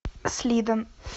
слидон